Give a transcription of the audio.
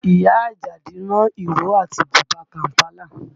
Ìyá Àjàdí rán ìró àti bùbá Kàm̀pálà